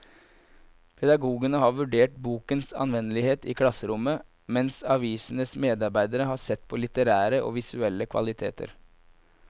Pedagogene har vurdert bokens anvendelighet i klasserommet, mens avisens medarbeidere har sett på litterære og visuelle kvaliteter.